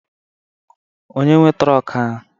Onye nwee trọk ahụ?